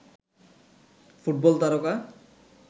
football তারকা